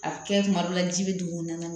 A bɛ kɛ kuma dɔ la ji bɛ dugumana na